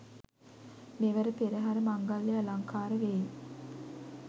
මෙවර පෙරහර මංගල්‍යය අලංකාර වෙයි.